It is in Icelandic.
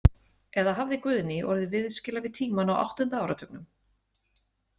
Eða hafði Guðný orðið viðskila við tímann á áttunda áratugnum?